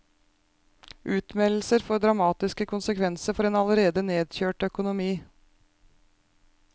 Utmeldelser får dramatiske konsekvenser for en allerede nedkjørt økonomi.